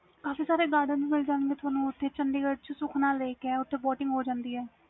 ਕਾਫੀ ਸਾਰੇ garden ਮਿਲ ਜਾਂਦੇ ਤੁਹਾਨੂੰ chandigarh ਵਿਚ sukhna lake ਓਥੇ boating ਮਿਲ ਜਾਂਦੀ ਆ